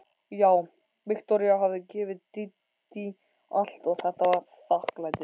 Já, Viktoría hafði gefið Dídí allt og þetta var þakklætið.